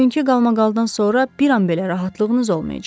Bugünkü qalmaqaldan sonra bir an belə rahatlığınız olmayacaq.